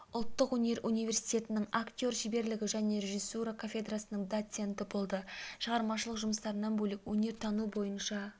ұлттық өнер университетінің актер шеберлігі және режиссура кафедрасының доценті болды шығармашылық жұмыстарынан бөлек өнертану бойынша